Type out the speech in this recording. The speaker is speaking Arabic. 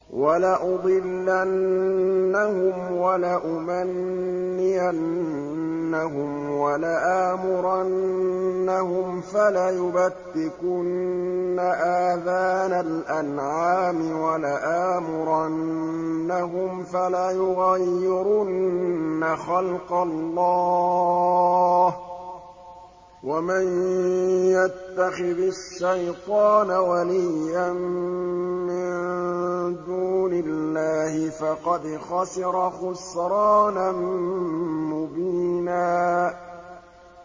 وَلَأُضِلَّنَّهُمْ وَلَأُمَنِّيَنَّهُمْ وَلَآمُرَنَّهُمْ فَلَيُبَتِّكُنَّ آذَانَ الْأَنْعَامِ وَلَآمُرَنَّهُمْ فَلَيُغَيِّرُنَّ خَلْقَ اللَّهِ ۚ وَمَن يَتَّخِذِ الشَّيْطَانَ وَلِيًّا مِّن دُونِ اللَّهِ فَقَدْ خَسِرَ خُسْرَانًا مُّبِينًا